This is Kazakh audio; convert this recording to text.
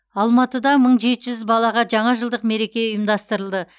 алматыда мың жеті жүз балаға жаңа жылдық мереке ұйымдастырылды